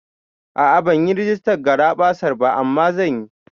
A'a banyi rigistan garaɓasar ba, amma zan yi